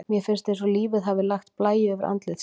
Mér finnst eins og lífið hafi lagt blæju yfir andlit sitt.